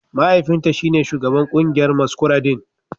Mahaifinta shine Shugaban kungiyar maskuradin